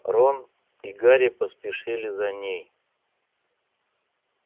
рон и гарри поспешили за ней